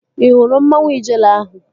Ị hụrụ mmanwu Ijele ahụ?